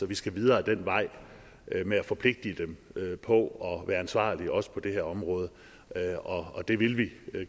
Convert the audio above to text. vi skal videre ad den vej med at forpligte dem på at være ansvarlige også på det her område og og det vil vi